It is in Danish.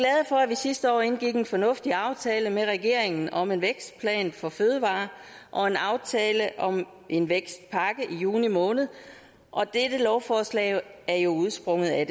at vi sidste år indgik en fornuftig aftale med regeringen om en vækstplan for fødevarer og en aftale om en vækstpakke i juni måned og dette lovforslag er jo udsprunget af